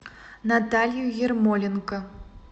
наталью ермоленко